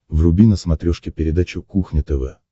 вруби на смотрешке передачу кухня тв